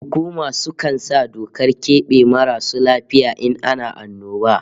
Hukuma sukan sa dokar kebe marasu lafiya in ana annoba